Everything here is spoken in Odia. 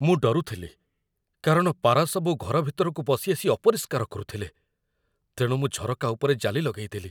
ମୁଁ ଡରୁଥିଲି କାରଣ ପାରାସବୁ ଘର ଭିତରକୁ ପଶି ଆସି ଅପରିଷ୍କାର କରୁଥିଲେ, ତେଣୁ ମୁଁ ଝରକା ଉପରେ ଜାଲି ଲଗେଇଦେଲି।